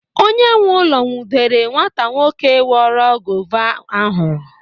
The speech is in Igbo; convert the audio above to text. Onye nwe ụlọ nwụdere nwata nwoke kporo guava ahụ.